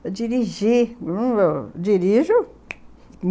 Eu dirigi dirijo...